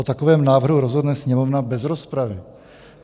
O takovém návrhu rozhodne Sněmovna bez rozpravy."